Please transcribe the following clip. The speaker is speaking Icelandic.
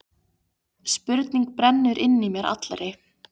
Spurning brennur inn í mér allri.